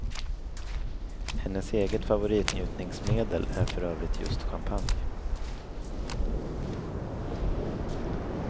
Hennes eget favoritnjutningsmedel är för övrigt just champagne.